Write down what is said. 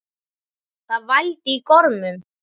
Það vældi í gormum.